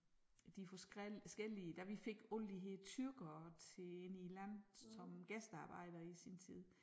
De forskellige da vi fik alle de her tyrkere til ind i æ land som gæstearbejdere i sin tid